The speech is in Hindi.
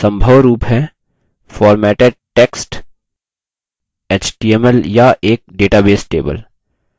सम्भव रूप हैं formatted text html या एक डेटाबेस table